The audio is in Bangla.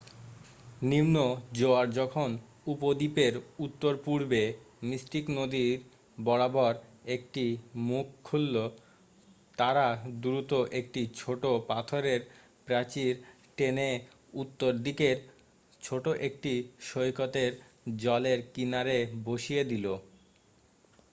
নিম্ন জোয়ার যখন উপদ্বীপের উত্তর-পূর্বে মিস্টিক নদী বরাবর একটি মুখ খুলল তারা দ্রুত একটি ছোট পাথরের প্রাচীর টেনে উত্তর দিকের ছোট একটি সৈকতের জলের কিনারে বসিয়ে দিল